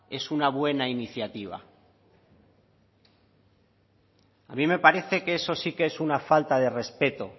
es una buena iniciativa a mí me parece que eso sí que es una falta de respeto